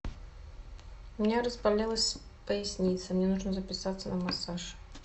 у меня разболелась поясница мне нужно записаться на массаж